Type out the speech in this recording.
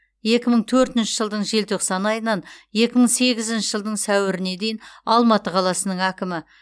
екі мың төртінші жылдың желтоқсан айынан екі мың сегізінші жылдың сәуіріне дейін алматы қаласының әкімі